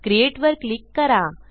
createवर click करा